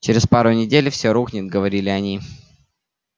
через пару недель всё рухнет говорили они